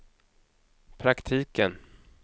praktiken